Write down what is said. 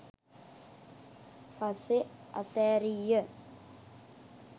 පස්සෙ අතෑරිය.